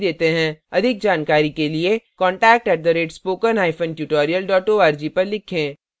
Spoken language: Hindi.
अधिक जानकारी के लिए contact @spokentutorial org पर लिखें